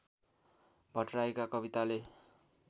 भट्टराईका कविताले